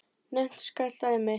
Nefnt skal dæmi.